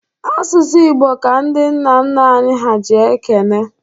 Asụsụ Igbo ka ndị nna nna anyị ha ji ekene.